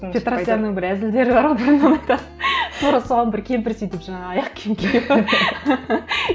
петросянның бір әзілдері бар ғой тура соған бір кемпір сөйтіп жаңа аяқ киім киіп